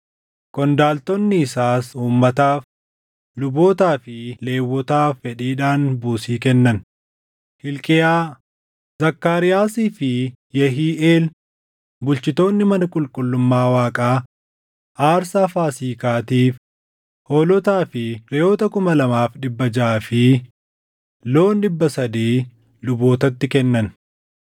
Qondaaltonni isaas uummataaf, lubootaa fi Lewwotaaf fedhiidhaan buusii kennan. Hilqiyaa, Zakkaariyaasii fi Yehiiʼeel bulchitoonni mana qulqullummaa Waaqaa aarsaa Faasiikaatiif hoolotaa fi reʼoota kuma lamaa dhibba jaʼaa fi loon dhibba sadii lubootatti kennan.